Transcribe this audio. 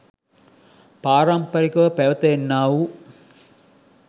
පාරම්පරිකව පැවැත එන්නා වූ